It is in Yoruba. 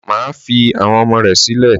Má fi àwọn ọmọ rẹ̀ sílẹ̀!